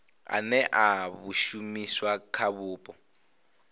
ane a shumiswa kha vhupo